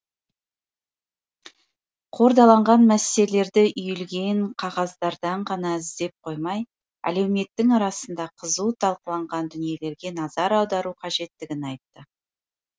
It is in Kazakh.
қордаланған мәселелерді үйілген қағаздардан ғана іздеп қоймай әлеуметтің арасында қызу талқыланған дүниелерге назар аудару қажеттігін айтты